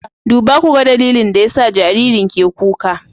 Duba ku ga dalilin da yasa jaririn ke kuka